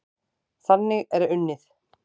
Þannig er unnið.